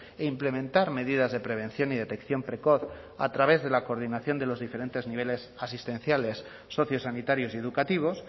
e implementar medidas de prevención y detección precoz a través de la coordinación de los diferentes niveles asistenciales sociosanitarios y educativos